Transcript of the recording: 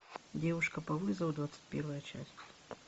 девушка по вызову двадцать первая часть